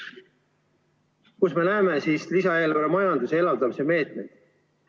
Kus me siis lisaeelarves näeme majanduse elavdamise meetmeid?